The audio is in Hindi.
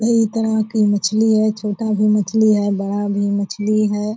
कई तरह की मछली है छोटा भी मछली है बड़ा भी मछली है।